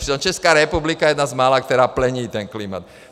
Přitom Česká republika je jedna z mála, která plní ten klimat.